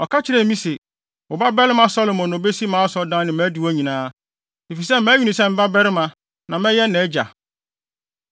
Ɔka kyerɛɛ me se, ‘Wo babarima Salomo na obesi mʼasɔredan ne nʼadiwo nyinaa, efisɛ mayi no sɛ me babarima na mɛyɛ nʼagya.